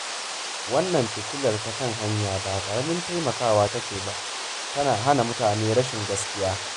Wannan fitilar ta kan hanya ba karamin taimakawa take ba, tana hana mutane rashin gaskiya